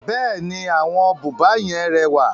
Bẹ́ẹ̀ni, àwọn búba yẹn rẹwà.